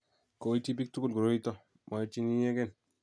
Koityi biik tukul koroito, moityin inyegen.